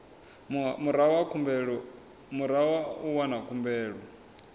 murahu ha u wana khumbelo